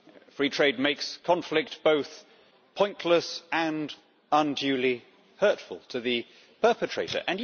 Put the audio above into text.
Free trade makes conflict both pointless and unduly hurtful to the perpetrator.